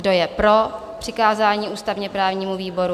Kdo je pro přikázání ústavně-právnímu výboru?